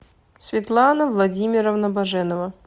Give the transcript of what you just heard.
светлана владимировна баженова